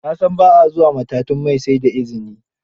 Na san ba a zuwa matatun mai sai da izini